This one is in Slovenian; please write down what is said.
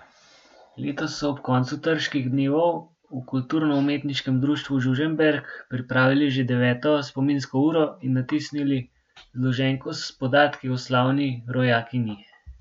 Letos so ob koncu Trških dnevov v Kulturno umetniškem društvu Žužemberk pripravili že deveto spominsko uro in natisnili zloženko s podatki o slavni rojakinji.